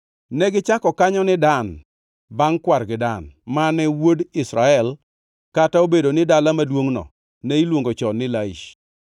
Joka Dan nochungo kido manono kanyo mondo gilam, kendo negiketo Jonathan wuod Gershom, ma wuod Musa, kod yawuote obedo jodolo ne dhood joka Dan nyaka ne ochopo kinde mane oter pinyno e twech.